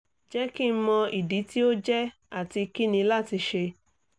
jẹ ki n mọ idi ti o jẹ ati kini lati ṣe?